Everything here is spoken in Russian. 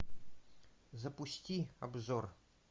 запусти обзор